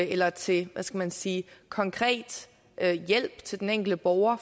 eller til hvad skal man sige konkret hjælp til den enkelte borger